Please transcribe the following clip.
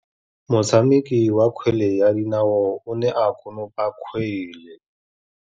Motshameki wa kgwele ya dinaô o ne a konopa kgwele.